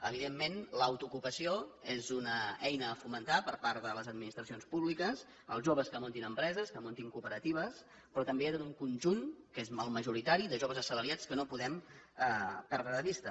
evidentment l’autoocupació és una eina a fomentar per part de les administracions públiques els joves que muntin empreses que muntin cooperatives però també hi ha tot un conjunt que és el majoritari de joves assalariats que no podem perdre de vista